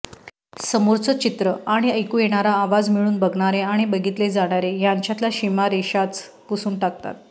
समोरचं चित्र आणि ऐकू येणारा आवाज मिळून बघणारे आणि बघितले जाणारे ह्यांच्यातल्या सीमारेषाच पुसून टाकतात